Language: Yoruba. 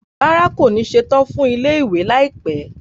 Rárá, kò ní ṣetán fún ilé-ìwé láìpẹ́